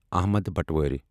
Ahmad Umar